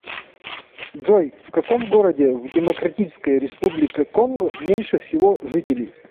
джой в каком городе в демократическая республика конго меньше всего жителей